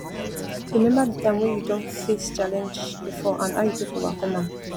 remember di time wey you don face challenge before and how you take overcome am